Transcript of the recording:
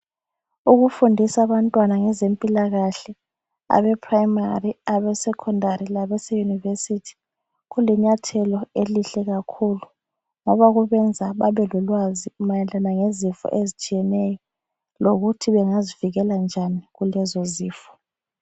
Ukufundisa abantwana ngezempilakahle, abePrimary, abeseSecondary labaseYunivesithi, kulinyathelo elihle kakhulu ngoba kubenza babelolwazi mayelana lezifo ezitshiyeneyo lokuthi bengazivikela njani kulezo zifo.